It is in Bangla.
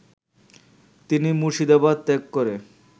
তিনি মুর্শিদাবাদ ত্যাগ করে